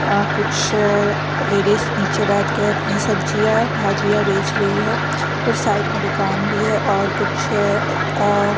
अ कुछ लेडीज नीचे बैठ के अपनी सब्जियाँ भाजियाँ बेच रही है कुछ साइड में दुकान भी है और कुछ अ आ --